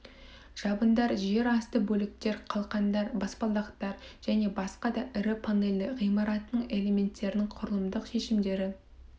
жабындар жер асты бөліктер қалқандар баспалдақтар және басқа да ірі панельді ғимараттардың элементтерінің құрылымдық шешімдері